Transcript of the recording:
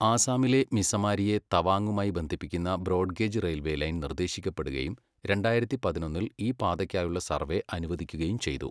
ആസാമിലെ മിസമാരിയെ തവാങ്ങുമായി ബന്ധിപ്പിക്കുന്ന ബ്രോഡ് ഗേജ് റെയിൽവേ ലൈൻ നിർദ്ദേശിക്കപ്പെടുകയും രണ്ടായിരത്തി പതിനൊന്നിൽ ഈ പാതയ്ക്കായുള്ള സർവ്വേ അനുവദിക്കുകയും ചെയ്തു.